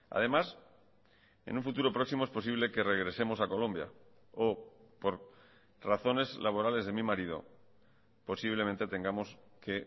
además en un futuro próximo es posible que regresemos a colombia o por razones laborales de mi marido posiblemente tengamos que